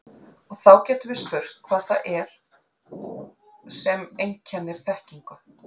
Og þá getum við spurt hvað það er sem einkennir þekkingu.